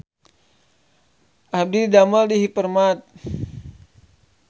Abdi didamel di Hypermart